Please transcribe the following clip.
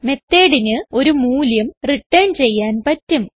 methodന് ഒരു മൂല്യം റിട്ടേൺ ചെയ്യാൻ പറ്റും